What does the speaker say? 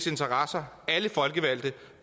jeg